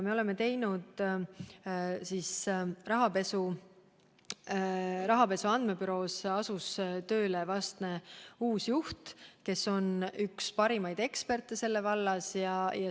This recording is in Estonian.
Rahapesu Andmebüroos asus tööle uus juht, kes on üks parimaid eksperte selles vallas.